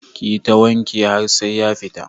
Ki yi ta wanke wa har sai ya fita.